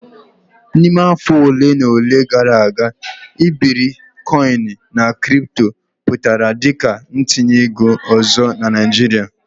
N'ime afọ ole na ole gara aga iberikoin na kripto pụtara dị ka ntinye ego ọzọ na Naijiria.